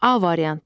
A variantı.